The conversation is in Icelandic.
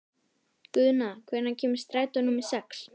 Guðna, hvenær kemur strætó númer sex?